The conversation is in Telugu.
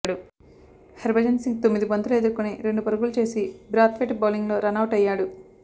హర్బజన్ సింగ్ తొమ్మిది బంతులు ఎదుర్కొని రెండు పరుగులు చేసి బ్రాత్వైట్ బౌలింగ్లో రనౌట్ అయ్యాడు